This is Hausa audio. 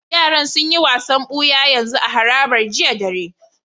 Yaran sun yi wasan buya yanzu a harabar jiya dare.